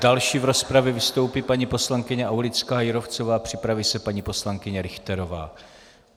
Další v rozpravě vystoupí paní poslankyně Aulická Jírovcová, připraví se paní poslankyně Richterová.